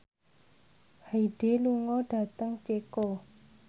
Hyde lunga dhateng Ceko